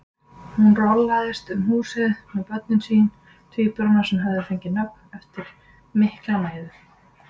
Hún rolaðist um húsið með börnin sín, tvíburana sem höfðu fengið nöfn eftir mikla mæðu.